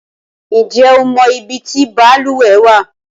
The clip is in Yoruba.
Ǹjẹ́ o mọ ibi tí balùwẹ̀ wà?